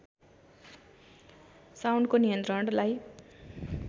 साउन्डको नियन्त्रणलाई